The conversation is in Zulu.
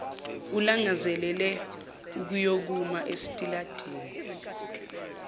alangazelele ukuyokuma esitaladini